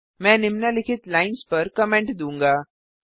मैं निम्नलिखित लाइन्स पर कमेंट दूंगा